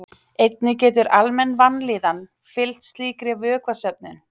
Einnig getur almenn vanlíðan fylgt slíkri vökvasöfnun.